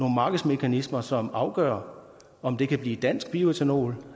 markedsmekanismer som afgør om det kan blive dansk bioætanol